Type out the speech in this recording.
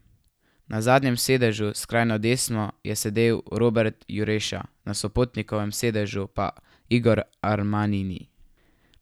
Na zadnjem sedežu, skrajno desno je sedel Robert Jureša na sopotnikovem sedežu pa Igor Armanini.